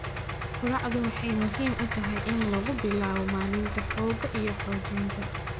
Quraacdu waxay muhiim u tahay in lagu bilaabo maalinta xoogga iyo xoojinta